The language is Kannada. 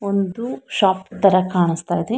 ಒಂದು ಶಾಪ್ ತರ ಕಾಣಿಸ್ತಾ ಇದೆ.